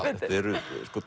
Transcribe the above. þetta eru